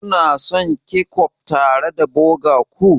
Kuna son kechof tare da burger ku?